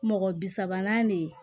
Mɔgɔ bi sabanan de